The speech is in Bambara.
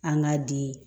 An k'a di